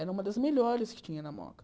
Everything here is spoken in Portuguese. Era uma das melhores que tinha na moca.